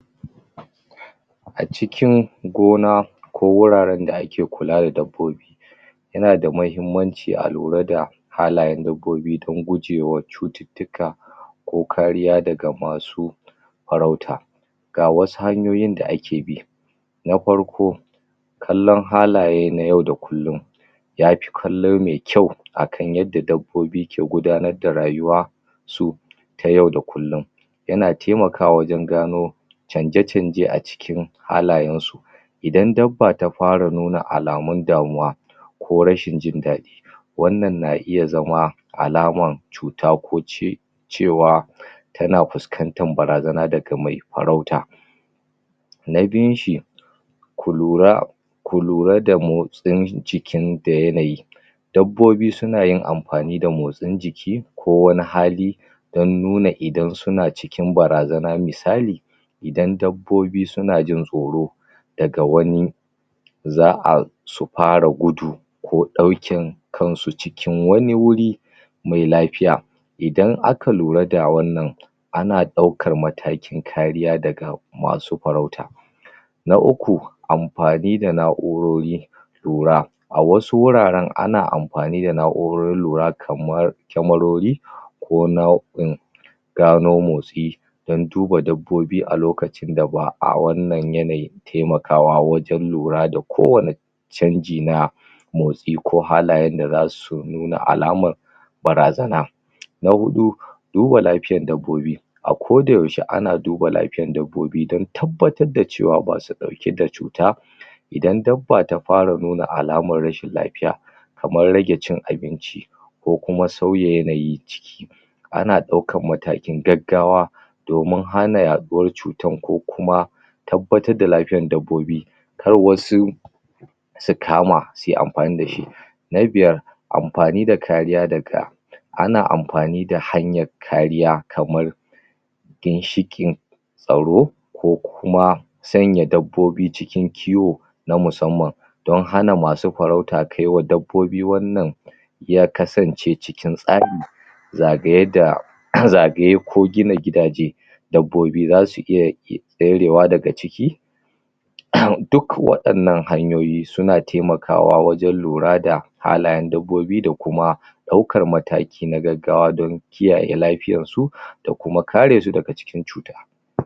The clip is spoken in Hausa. A cikin gona ko wuraren da ake kula da dabbobi ya na da mahimmanci a lura da halayen dabbobi don gujewa cututtuka ko kariya daga masu farauta. Ga wasu hanyoyin da ake bi. Na farko kallon halaye na yau da kullum yafi kallo mai kyau akan yadda dabbobi ke gudanar da rayuwa su ta yau da kullum. Ya na taimakawa wajen gano canje-canje a cikin halayen su Idan dabba ta fara nuna alamun damuwa ko rashin jin daɗi wannan na iya zama alaman cuta ko ce cewa ta na fuskantar barazana daga mai farauta. Na biyun shi ku lura, ku lura da motsin cikin da yanayi dabbobi su na yin amfani da motsin jiki ko wani hali don nuna idan su na cikin barazana. Misali idan dabbobi su na jin tsoro daga wani za'a su fara gudu ko ɗaukin kansu cikin wani wuri mai lafiya. Idan aka lura da wannan ana ɗaukar matakin kariya daga masu farauta. Na uku amfani da na'urori lura. A wasu wuraren ana amfani da na'urorin lura kamar kyamarori ko nau'in gano motsi dan duba dabbobi a lokacin da ba'a wannan yanayin taimakawa wajen lura da kowane canji na motsi ko halayen da za su nuna alaman barazana. Na huɗu duba lafiya dabbobi a koda yaushe ana duba lafiya dabbobi don tabbatar da cewa ba su ɗauke da cuta Idan dabba ta fara nuna alamar rashin lafiya kamar rage cin abinci, ko kuma sauya yanayi ana ɗaukan matakin gaggawa domin hana yaɗuwan cutar ko kuma tabbatar da lafiyan dabbobi kar wasu su kama suyi amfani da shi. Na biyar amfani da kariya daga ana amfani da hanyar kariya kaman ginshiƙin tsaro ko kuma sanya dabbobi cikin kiwo na musamman don hana masu farauta kaiwa dabbobi wannan ya kasance cikin tsari zagaye da zagaye ko gina gidaje dabbobi za su iya tserewa daga ciki ah duk waɗannan hanyoyi su na taimakawa wajen lura da halayen dabbobi da kuma ɗaukar mataki na gaggawa don kiyaye lafiyan su da kuma kare daga cikin cuta.